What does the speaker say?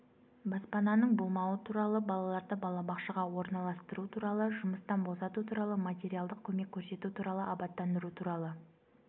баспананың болмауы туралы балаларды балабақшаға орналастыру туралы жұмыстан босату туралы материалдық көмек көрсету туралы абаттандыру туралы